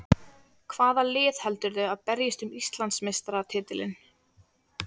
Hvaða lið heldurðu að berjist um Íslandsmeistaratitilinn?